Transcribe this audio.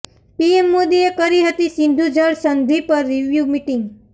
PM મોદીએ કરી હતી સિંધુ જળ સંધિ પર રિવ્યું મિટિંગ